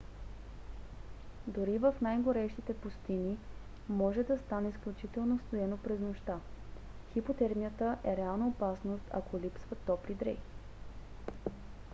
дори в най-горещите пустини може да стане изключително студено през нощта. хипотермията е реална опасност ако липсват топли дрехи